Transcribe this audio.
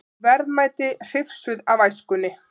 Verðmæti hrifsuð af æskunni